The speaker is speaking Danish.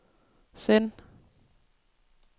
send